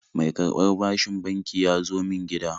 Mai karɓar bashin banki ya zo min gida